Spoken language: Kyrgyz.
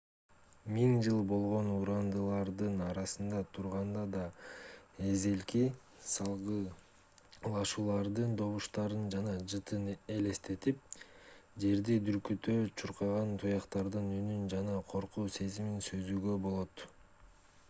миң жыл болгон урандылардын арасында турганда да эзелки салгылашуулардын добуштарын жана жытын элестетип жерди дүркүрөтө чуркаган туяктардын үнүн жана коркуу сезимин сезүүгө болот